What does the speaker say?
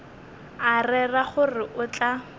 a rera gore o tla